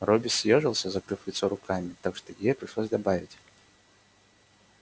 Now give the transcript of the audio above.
робби съёжился закрыв лицо руками так что ей пришлось добавить